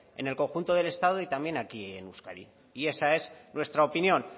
en el conjunto del estado y también aquí en euskadi y esa es nuestra opinión